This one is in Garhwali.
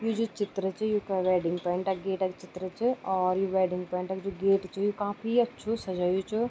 यु जू चित्र च यूँका वेडिंग पॉइंट क गेट क चित्र च और यु वेडिंग पॉइंट क जू गेट च यु काफी अच्छु सजयुँ च।